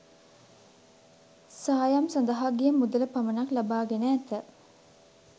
සායම් සඳහා ගිය මුදල පමණක් ලබා ගෙන ඇත.